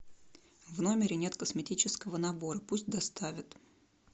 в номере нет косметического набора пусть доставят